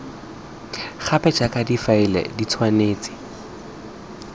gape jaaka difaele di tshwanetse